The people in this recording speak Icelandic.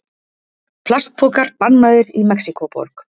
Plastpokar bannaðir í Mexíkóborg